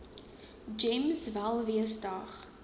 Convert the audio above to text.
gems welwees dag